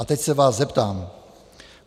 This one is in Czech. A teď se vás zeptám.